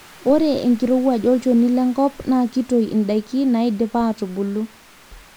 ore enkirowuaj olchoni lenkop naa kitoi indaiki naidipaa atubuluu